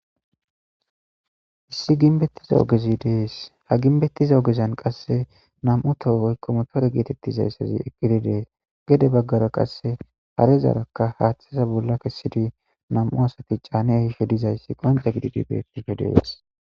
Issi ginbettiza ogezi dees. Ha ginbettiza ogezan qasse nam'u toho woykko motore geetetizayssazi eqqidi de'ees. Gede baggara qasse harezaarakka haaththeza bolla kessidi nam'u asati caani ehishi dizayssi qonce gididi beettishe de'es.